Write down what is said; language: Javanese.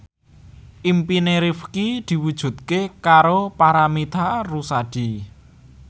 impine Rifqi diwujudke karo Paramitha Rusady